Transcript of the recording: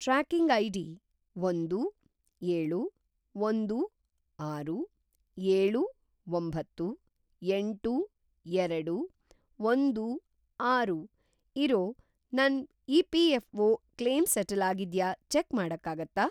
Tracking ID ಒಂದು, ಏಳು, ಒಂದು, ಆರು, ಏಳು, ಒಂಬತ್ತು, ಎಂಟು, ಎರಡು, ಒಂದು, ಆರು ಇರೋ ನನ್‌ ಇ.ಪಿ.ಎಫ಼್.ಒ. ಕ್ಲೇಮ್‌ ಸೆಟಲ್‌ ಅಗಿದ್ಯಾ ಚೆಕ್‌ ಮಾಡಕ್ಕಾಗತ್ತಾ?